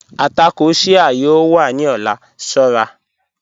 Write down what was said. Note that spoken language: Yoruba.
Àtàkọ́ Shia yóò wà ni ọ̀lá, ṣọ̀ra